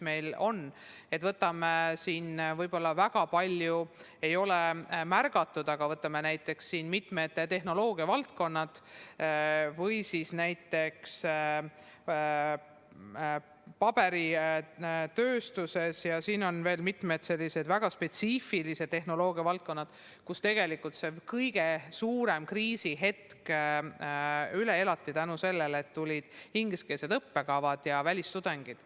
Võib-olla ei ole seda väga palju märgatud, aga võtame näiteks mitmed tehnoloogiavaldkonnad, näiteks paberitööstuse või mõne teise väga spetsiifilise tehnoloogiavaldkonna, kus kõige suurem kriisihetk elati üle tänu sellele, et tulid ingliskeelsed õppekavad ja välistudengid.